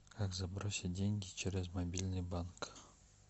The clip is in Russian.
как забросить деньги через мобильный банк